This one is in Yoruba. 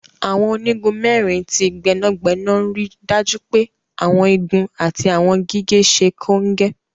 Àwọn onigun mẹrin ti gbẹnagbẹna n ríì dájú pé Àwọn igun àti àwọn gígẹ̀ sẹ́ kọ́ngẹ́.